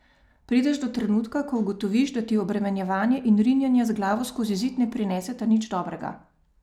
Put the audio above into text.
Prideš do trenutka, ko ugotoviš, da ti obremenjevanje in rinjenje z glavo skozi zid ne prineseta nič dobrega.